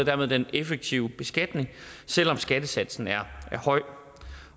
dermed den effektive beskatning selv om skattesatsen er høj